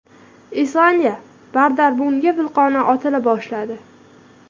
Islandiyada Bardarbunga vulqoni otila boshladi.